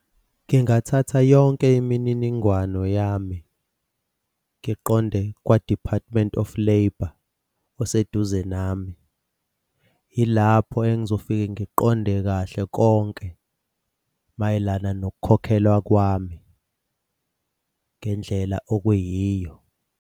Ngingathatha yonke imininingwano yami, ngiqonde kwa-Department of Labour oseduze nami. Ilapho engizofike ngiqonde kahle konke mayelana nokukhokhelwa kwami ngendlela okuyiyo.